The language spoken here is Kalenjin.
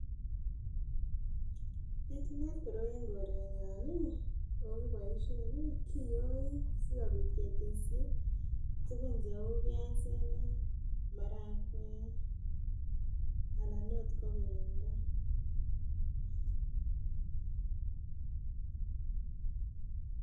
Pitunat koroi en korenyon nii okiboishen nii koyoe sikopit keteshi tukun cheu piasinik marakwek, alan ot ko pendo.